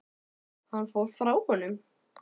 Hann fór frá honum.